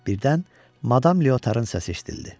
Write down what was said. Birdən madam Leotarın səsi eşidildi.